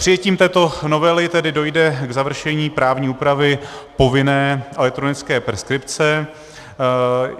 Přijetím této novely tedy dojde k završení právní úpravy povinné elektronické preskripce.